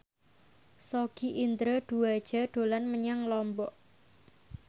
Sogi Indra Duaja dolan menyang Lombok